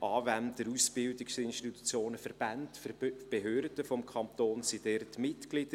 Anwender, Ausbildungsinstitutionen, Verbände und Behörden des Kantons Mitglied.